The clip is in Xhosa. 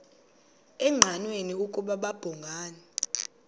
engqanweni ukuba babhungani